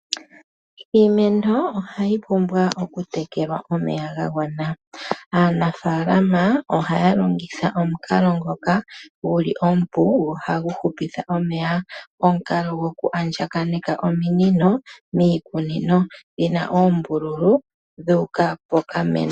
Iimeno ohayi pumbwa okutekelwa omeya ga gwana. Aanafaalama ohaya longitha omukalo ngoka gu li omupu, go ohagu hupitha omeya. Omukalo goku andjakaneka ominino miikunino dhi na oombululu dhu uka poshimeno.